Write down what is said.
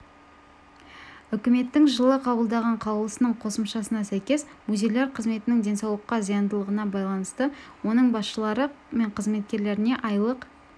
үкіметтің жылы қабылдаған қаулысының қосымшасына сәйкес музейлер қызметінің денсаулыққа зияндылығына байланысты оның басшылары мен қызметкерлеріне айлық